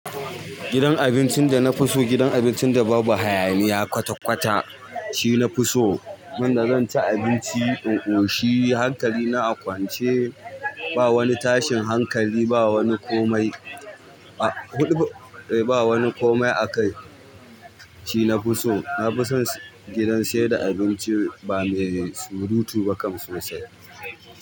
Gidan abincin da na fi so, gidan abincin da babu hayaniya kwata-kwata shine na fi so. Wanda zan ci abinci. In ƙoshi hankali na a kwance. Ba wani tashin hankali, ba wani komai. A huɗu, eh ba wani komai a kai shine na fi so. Na fi son gidan seda da abinci ba mai surutu ba kam sosai.